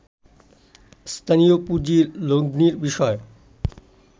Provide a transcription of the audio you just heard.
স্থানীয় পুঁজির লগ্নির বিষয়